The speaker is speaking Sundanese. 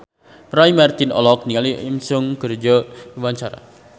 Roy Marten olohok ningali Jo In Sung keur diwawancara